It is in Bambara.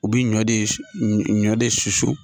U bi ɲɔ de ɲɔ de susu